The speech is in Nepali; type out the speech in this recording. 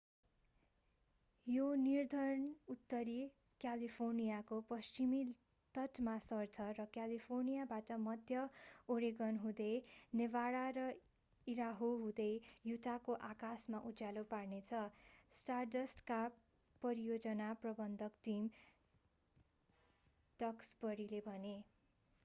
यो नर्धर्नउत्तरी क्यालिफोर्नियाको पश्चिमी तटमा सर्छ र क्यालिफोर्नियाबाट मध्य ओरेगन हुँदै नेभाडा र ईडाहो हुँदै युटाको आकाशमा उज्यालो पार्नेछ स्टारडस्टका परियोजना प्रबन्धक टम डक्सबरीले भने